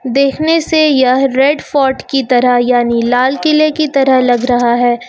देखने से यह रेड फोर्ट की तरह यानी लाल किले की तरह लग रहा है।